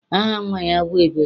Aha nnwa ya bụ Ebere.